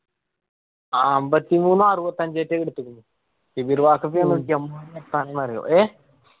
അമ്പത്തിമൂന്നു അറുപത്തിഅഞ്ചാ കൊടുത്തക്കുണ് എപ്പാണ് ന്നു അറിയോ ഏർ